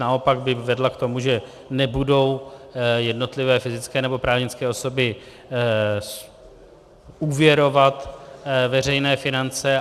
Naopak by vedla k tomu, že nebudou jednotlivé fyzické nebo právnické osoby úvěrovat veřejné finance.